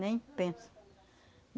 Nem pensa.